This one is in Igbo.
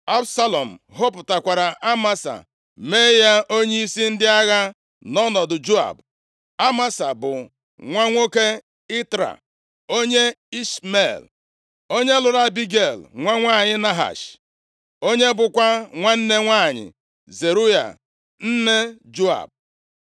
Absalọm họpụtakwara Amasa mee ya onyeisi ndị agha, nʼọnọdụ Joab. Amasa bụ nwa nwoke Itra, onye Ishmel, + 17:25 Lee anya na \+xt 1Ih 2:17\+xt*. Ụfọdụ akwụkwọ mgbe ochie nke ndị Hibru nakwa ndị ọzọ na-asị Onye Izrel onye lụrụ Abigel, nwa nwanyị Nahash, onye bụkwa nwanne nwanyị Zeruaya nne Joab.